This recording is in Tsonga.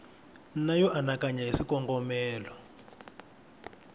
na yo anakanya hi swikongomelo